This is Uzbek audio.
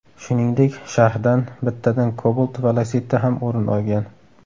Shuningdek, sharhdan bittadan Cobalt va Lacetti ham o‘rin olgan.